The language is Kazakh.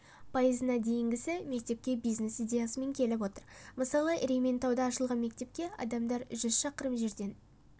пайызына дейінгісі мектепке бизнес идеясымен келіп отыр мысалы ерейментауда ашылған мектепке адамдар жүз шақырым жерден